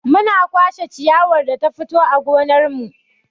Muna kwashe ciyawar da ta fito a gonar mu.